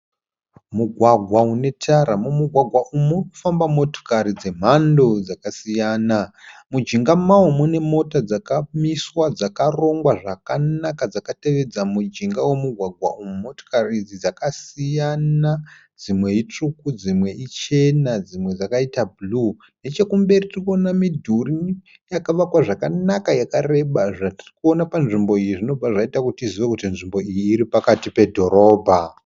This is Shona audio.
Mugwagwa une tara. Mumugwaga umu murikufamba motokari dzemhando dzakasiyana. Mujinga mawo mune mota dzakamiswa dzakarongwa zvakanaka dzakatevedza mujinga womugwagwa uyu. Motikari idzi dzakasiyana dzimwe itsvuku dzimwe ichena dzimwe dzakaita bhuruu. Nechekumberi tirikuona midhuri yakavakwa zvakanaka yakareba. Zvatiri kuona panzvimbo iyi zvinobva zvaita kuti tizive kuti nzvimbo iyi pakati pedhorobha.